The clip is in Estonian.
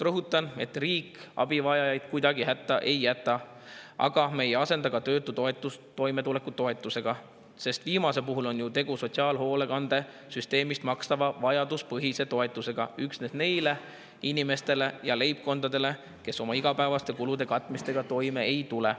Rõhutan, et riik abivajajaid kuidagi hätta ei jäta, aga me ei asenda ka töötutoetust toimetulekutoetusega, sest viimase puhul on ju tegu sotsiaalhoolekandesüsteemi vajaduspõhise toetusega üksnes neile inimestele ja leibkondadele, kes oma igapäevaste kulude katmisega toime ei tule.